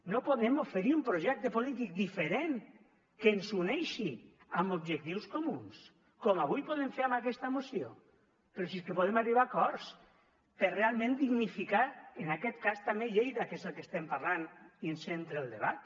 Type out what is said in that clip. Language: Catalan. no podem oferir un projecte polític diferent que ens uneixi amb objectius comuns com avui podem fer amb aquesta moció però si és que podem arribar a acords per realment dignificar en aquest cas també lleida que és el que estem parlant i ens centra el debat